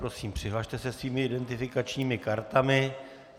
Prosím, přihlaste se svými identifikačními kartami.